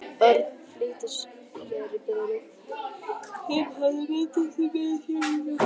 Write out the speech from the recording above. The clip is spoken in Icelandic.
Örn flýtti sér í biðröð sem hafði myndast við miðasöluna.